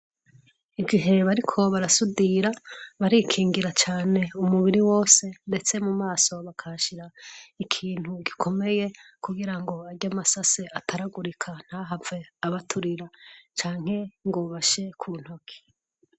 Igihe bariko barasudira barikingira cane umubiri wose ndetse mu maso bakahashira ikintu gikomeye kugira ngo arya masase ataragurika ntahave abaturira canke ngo bashe ku ntoki.